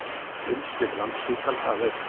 Umsvif Landspítala að aukast